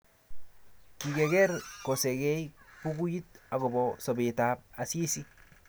Kiker koserei bukuit agobo sobetab Asisi